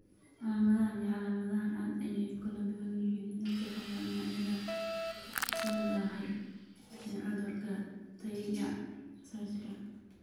Calaamadahaan iyo calaamadahan aad ayey ugu kala duwan yihiin dadka qaba noocyada soo daahay ee cudurka Tayka Sachska.